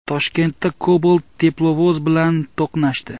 Toshkentda Cobalt teplovoz bilan to‘qnashdi.